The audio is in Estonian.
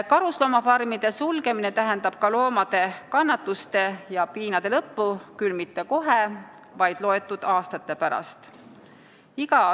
Karusloomafarmide sulgemine tähendab loomade kannatuste ja piinade lõppu, küll mitte kohe, vaid mõne aasta pärast.